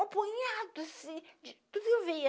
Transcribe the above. um apanhado assim, de tudo que eu via.